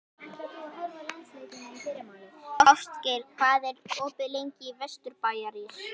Ástgeir, hvað er opið lengi í Vesturbæjarís?